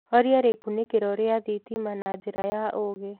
horĩa rikunikiro ria thitima na njĩra ya uugi